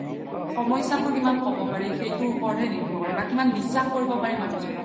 সমস্যা বোৰ কিমান ক্'ব পাৰি সেইতোৰ ওপৰত হে নিৰভৰ কৰে বা কিমান বিশ্বাস কৰিব পাৰি মানুহ জ্ন্ক